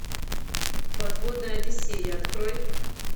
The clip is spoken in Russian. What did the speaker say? подводная одиссея открой